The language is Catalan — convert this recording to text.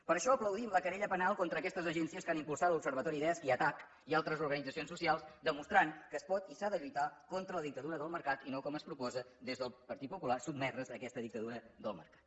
per això aplaudim la querella penal contra aquestes agències que han impulsat l’observatori desc i attac i altres organitzacions socials demostrant que es pot i s’ha de lluitar contra la dictadura del mercat i no com es proposa des del partit popular sotmetre’s a aquesta dictadura del mercat